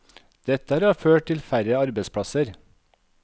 Dette har ført til færre arbeidsplasser.